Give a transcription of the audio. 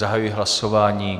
Zahajuji hlasování.